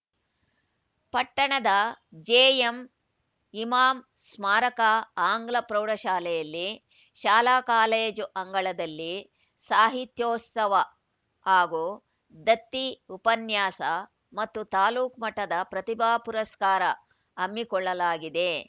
ಪಟ್ಟಣದ ಜೆಎಂ ಇಮಾಂ ಸ್ಮಾರಕ ಆಂಗ್ಲ ಪ್ರೌಢಶಾಲೆಯಲ್ಲಿ ಶಾಲಾ ಕಾಲೇಜು ಅಂಗಳದಲ್ಲಿ ಸಾಹಿತ್ಯೋತ್ಸವ ಹಾಗೂ ದತ್ತಿ ಉಪನ್ಯಾಸ ಮತ್ತು ತಾಲೂಕು ಮಟ್ಟದ ಪ್ರತಿಭಾ ಪುರಸ್ಕಾರ ಹಮ್ಮಿಕೊಳ್ಳಲಾಗಿದೆ